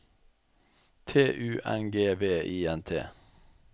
T U N G V I N T